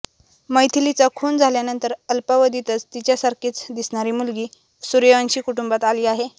मैथिलीचा खून झाल्यानंतर अल्पावधीतच तिच्यासारखीच दिसणारी मुलगी सूर्यवंशी कुटुंबात आली आहे